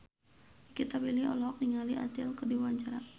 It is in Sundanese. Nikita Willy olohok ningali Adele keur diwawancara